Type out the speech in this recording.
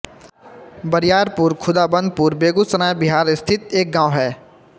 बरियारपुर खुदाबंदपुर बेगूसराय बिहार स्थित एक गाँव है